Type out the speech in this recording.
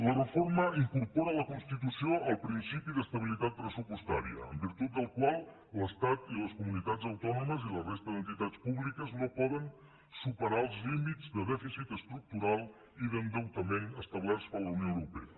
la reforma incorpora a la constitució el principi d’estabilitat pressupostària en virtut del qual l’estat i les comunitats autònomes i la resta d’entitats públiques no poden superar els límits de dèficit estructural i d’endeutament establerts per la unió europea